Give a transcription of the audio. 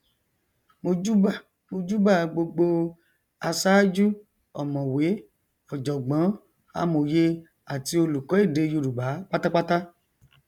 mojúbà mojúbà gbogbo aṣájú ọmọwé ọjọgbọn amòye àti olùkọ èdè yorùbá pátápátá